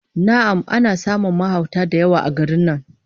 Na'am, ana samun mahauta da yawa a garin nan